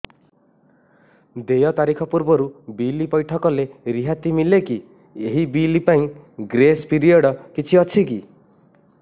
ଦେୟ ତାରିଖ ପୂର୍ବରୁ ବିଲ୍ ପୈଠ କଲେ ରିହାତି ମିଲେକି ଏହି ବିଲ୍ ପାଇଁ ଗ୍ରେସ୍ ପିରିୟଡ଼ କିଛି ଅଛିକି